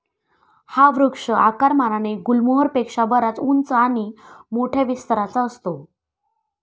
हा वृक्ष आकारमानाने गुलमोहर पेक्षा बराच उंच आणि मोठया विस्ताराचा असतो.